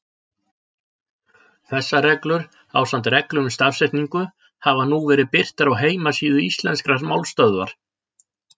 Þessar reglur, ásamt reglum um stafsetningu, hafa nú verið birtar á heimasíðu Íslenskrar málstöðvar.